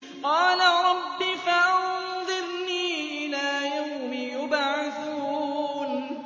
قَالَ رَبِّ فَأَنظِرْنِي إِلَىٰ يَوْمِ يُبْعَثُونَ